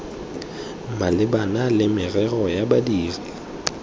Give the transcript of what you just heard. malebana le merero ya badiri